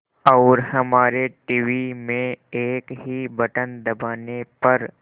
और हमारे टीवी में एक ही बटन दबाने पर